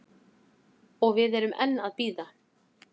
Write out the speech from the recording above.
Og við erum enn að bíða